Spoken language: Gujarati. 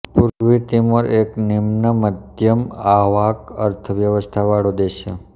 પૂર્વી તિમોર એક નિમ્નમધ્યમઆવાક અર્થવ્યવસ્થા વાળો દેશ છે